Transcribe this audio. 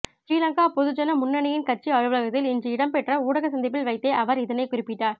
ஸ்ரீலங்கா பொதுஜன முன்னணியின் கட்சி அலுவலகத்தில் இன்று இடம்பெற்ற ஊடக சந்திப்பில் வைத்தே அவர் இதனைக் குறிப்பிட்டார்